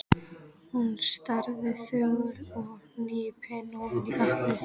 Hún starði þögul og hnípin ofan í vatnið.